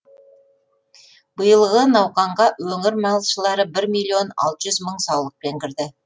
биылғы науқанға өңір малшылары бір миллион алты жүз мың саулықпен кірді